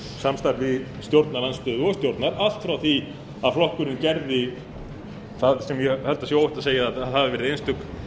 samstarfi stjórnarandstöðu og stjórnar allt frá því að flokkurinn gerði það sem ég held að sé óhætt að segja að hafi verið einstök